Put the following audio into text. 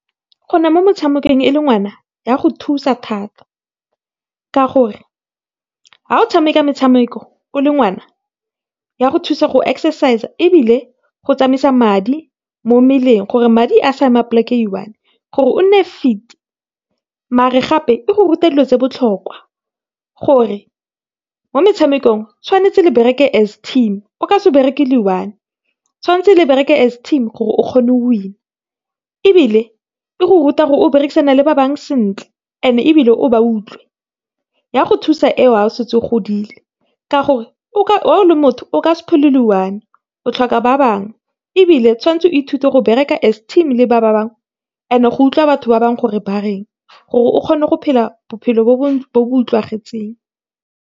gona mo metshamekong e le ngwana, ya go thusa thata ka gore, ha o tshameka metshameko o le ngwana, ya go thusa gore o exercise-e, ebile go tsamaisa madi mo mmeleng, gore madi a sa ema plek-e e one, gore o nne fit, mare gape e go ruta dilo tse di bohlokwa, gore mo metshamekong tshwanetse le bereke as team, o ka se bereke le one, tshwantse le bereke as team gore o kgone go winner, ebile e go ruta gore o berekisane le ba bangwe sentle and-e ebile o ba utlwe. Ya go thusa eo ha setse o godile, ka gore o ka , ha o le motho o ka se phele o le one, o tlhoka ba bangwe, ebile tshwantse o ithute go bereka as team le ba ba bangwe and go utlwa ba bangwe gore bareng gore o kgone go phela bophelo bo .